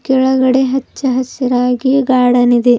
ಕೆಳಗಡೆ ಹಚ್ಚ ಹಸಿರಾಗಿ ಗಾರ್ಡನ್ ಇದೆ.